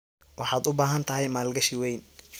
Waxaad u baahan tahay maalgashi weyn.